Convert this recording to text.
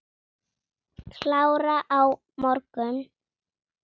Klára á morgun.